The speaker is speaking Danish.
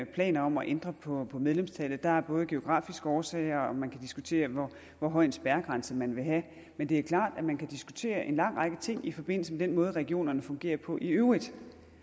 planer om at ændre på på medlemstallet der er både geografiske årsager og man kan diskutere hvor høj en spærregrænse man vil have men det er klart at man kan diskutere en lang række ting i forbindelse med den måde regionerne fungerer på i øvrigt